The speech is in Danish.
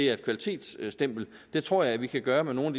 er et kvalitetsstempel det tror jeg vi kan gøre med nogle